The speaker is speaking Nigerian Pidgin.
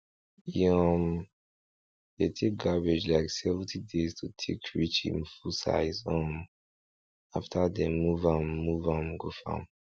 um dey take cabbage like seventy days to take reach im full size um after dem move am move am go farm